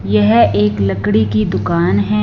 यह एक लकड़ी की दुकान है।